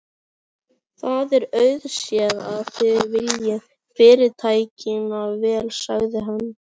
Það er auðséð, að þið viljið Fyrirtækinu vel sagði hann.